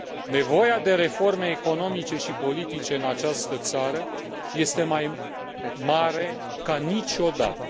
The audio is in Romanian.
Nevoia de reforme economice și politice în această țară este mai mare ca niciodată.